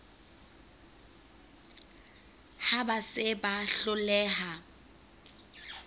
ha ba se ba hloleha